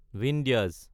বিন্ধ্যাচ